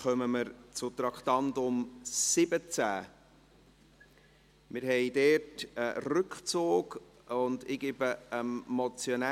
Sie haben auch diese Motion abgelehnt, mit 103 Nein- gegen 33 Ja-Stimmen bei 13 Enthaltungen.